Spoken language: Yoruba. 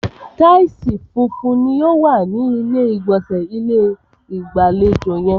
Taìsì funfun ni o wa ni ilé ìgbọ̀nsẹ̀ ilé-ìgbàlejò yẹn.